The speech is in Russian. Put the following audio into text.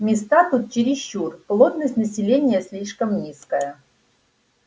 места тут чересчур плотность населения слишком низкая